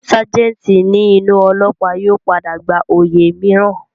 Ságẹ̀ǹtì ní inú ólọ́ọ̀pá yóò padà gba oyè mìíràn